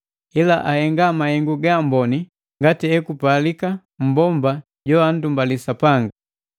ila ahenga mahengu gaamboni ngati ekupalika mmbomba joandumbali Sapanga.